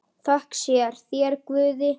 Þökk sé þér, Guði!